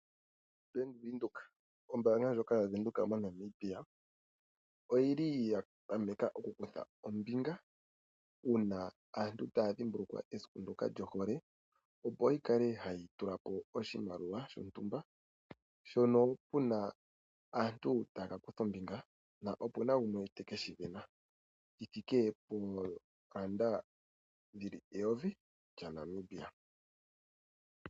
Bank Widheok, ombanga ndjoka yavunduka moNamibia oyili yapameka mokukutha ombinga una aantu taya dhimbulukwa esiku ndoka lyohole opo yikale hayitulapo oshimaliwa shontumba shono puna aantu tayakakutha ombinga opuna ngumwe tekeshivena shithike pondola eyovi lyaNamibia.